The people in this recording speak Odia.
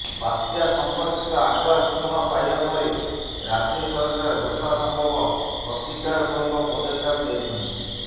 ବାତ୍ୟା ସଂପର୍କିତ ଆଗୁଆ ସୂଚନା ପାଇବା ପରେ ରାଜ୍ୟ ସରକାର ଯଥାସମ୍ଭବ ପ୍ରତିକାରମୂଳକ ପଦକ୍ଷେପ ନେଇଛନ୍ତି